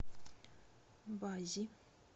баззи